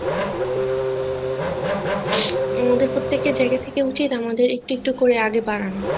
এজন্য প্রত্যেকের জায়গা থেকে উচিৎ আমাদের একটু একটু করে আগে বাড়ানো